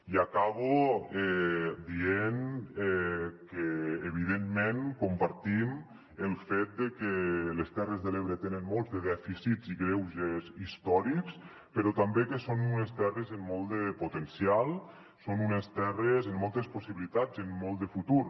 i acabo dient que evidentment compartim el fet de que les terres de l’ebre tenen molts de dèficits i greuges històrics però també que són unes terres amb molt de potencial són unes terres amb moltes possibilitats i amb molt de futur